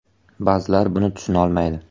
Ba’zilar buni tushunolmaydi.